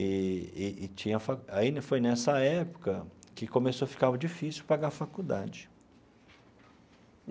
Eee e tinha foi aí foi nessa época que começou a ficar difícil pagar a faculdade.